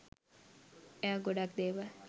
එයා ගොඩක් දේවල්